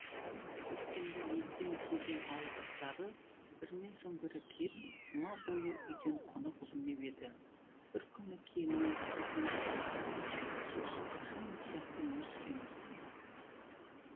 көктемде елден келген ауылдастары бірінен соң бірі кеп жұма бойы үйден қонақ үзілмеп еді бір күні келіні бекмирасқа біз осы қашан ел сияқты өмір сүреміз